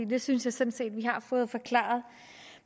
det synes jeg sådan set vi har fået forklaret